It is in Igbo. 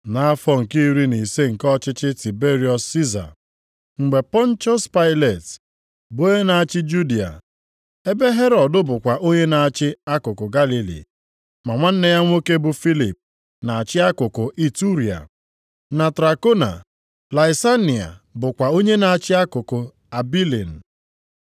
Nʼafọ nke iri na ise nke ọchịchị Tiberiọs Siza, mgbe Pọntiọs Pailet bụ onye na-achị Judịa, ebe Herọd bụkwa onye na-achị akụkụ Galili, ma nwanne ya nwoke bụ Filip na-achị akụkụ Iturịa na Trakona, Laisania bụkwa onye na-achị akụkụ Abilin,